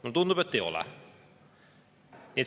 Mulle tundub, et ei ole.